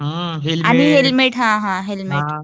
आणि हेल्मेट हां हां हेल्मेट